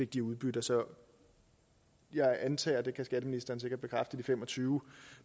de udbytter så jeg antager det kan skatteministeren sikkert bekræfte at de fem og tyve